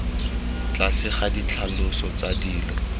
tlase ga ditlhaloso tsa dilo